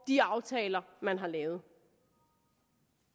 de aftaler man har lavet